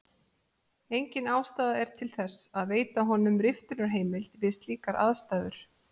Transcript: Engin ástæða er til þess að veita honum riftunarheimild við slíkar aðstæður.